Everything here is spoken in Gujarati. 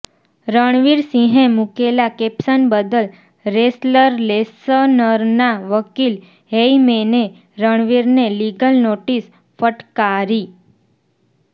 રણવીર સિંહે મૂકેલા કેપ્શન બદલ રેસલર લેસનરના વકીલ હેયમેને રણવીરને લીગલ નોટિસ ફટકારી